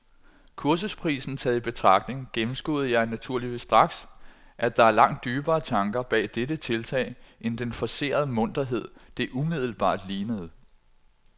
Kursusprisen taget i betragtning gennemskuede jeg naturligvis straks, at der var langt dybere tanker bag dette tiltag end den forcerede munterhed, det umiddelbart lignede.